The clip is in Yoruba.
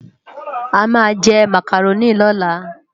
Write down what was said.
Amá jè Mákáróni lòlá